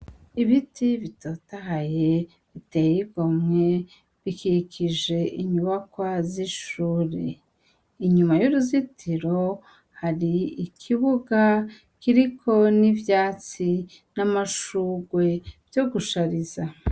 Ibiti bitotahaye bitey 'igomwe, bikikij' inyubakwa zishure, inyuma yuruzitiro har 'ikibuga Kiriko n' ivyatsi n' amashurwe vyogushariza.